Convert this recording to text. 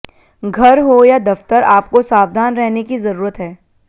घर हो या दफ्तर आपको सावधान रहने की जरूरत है